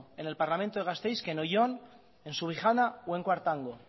en el parlamento de gasteiz que oion en subijana o en cuartango